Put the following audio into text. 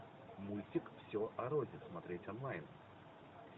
мультик все о рози смотреть онлайн